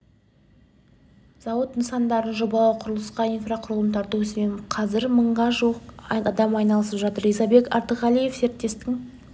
зауыт нысандарын жобалау құрылысқа инфрақұрылым тарту ісімен қазір мыңға жуық адам айналысып жатыр ризабек артығалиев серіктестіктің